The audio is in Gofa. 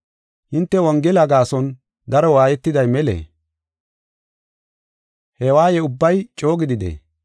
Hinte Wongela gaason daro waayetiday melee? He waaye ubbay coo gididee?